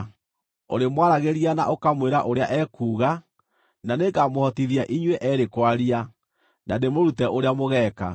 Ũrĩmwaragĩria na ũkamwĩra ũrĩa ekuuga, na nĩngamũhotithia inyuĩ eerĩ kwaria, na ndĩmũrute ũrĩa mũgeeka.